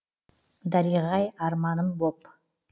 дариғай арманым боп